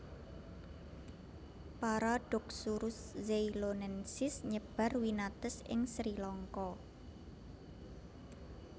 Paradoxurus zeylonensis nyebar winates ing Sri Lanka